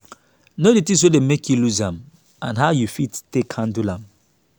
know di things wey dey make you loose am and how you fit take handle am